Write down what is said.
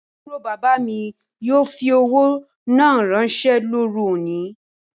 Aburo baba mi yoo fi owo naa ranse loru oni